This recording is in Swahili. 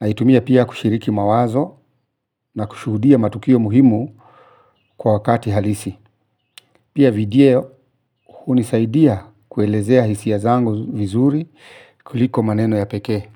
Na hitumia pia kushiriki mawazo na kushuhudia matukio muhimu kwa wakati halisi. Pia video unisaidia kuelezea hisi ya zangu vizuri kuliko maneno ya peke.